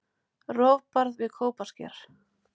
Rofbarð við Kópasker.